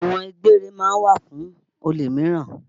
Ẹ̀wọn gbére ma ń wà fún olè míràn.